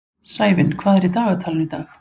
Sævin, hvað er í dagatalinu í dag?